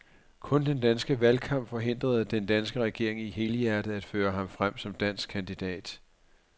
Kun den danske valgkamp forhindrede den danske regering i helhjertet at føre ham frem som dansk kandidat.